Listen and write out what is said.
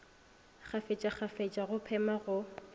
kgafetša kgafetša go phema go